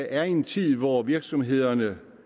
er i en tid hvor virksomhederne